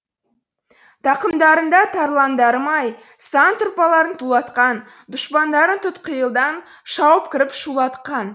тақымдарында тарландарым ай сан тұлпарларды тулатқан дұшпандарын тұтқиылдан шауып кіріп шулатқан